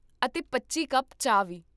ਅਤੇ ਪੱਚੀ ਕੱਪ ਚਾਹ ਵੀ